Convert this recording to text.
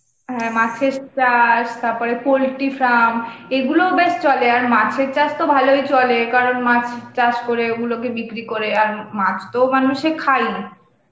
হ্যাঁ, মাছের চাষ, তাপরে poultry farm এগুলো বেশ চলে, আর মাছের চাষ তো ভালোই চলে কারণ মাছ চাষ করে ওগুলোকে বিক্রি করে আর মাছ তো মানুষে খায়ই